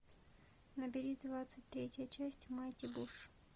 набери двадцать третья часть майти буш